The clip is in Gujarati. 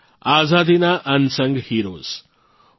આઝાદીના અનસંગ heroesઅસ્તૃત્ય નાયકો